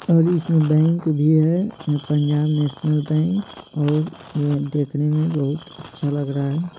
और इसमें बैंक भी है पंजाब नेशनल बैंक और यह देखने में बहुत अच्छा लग रहा है।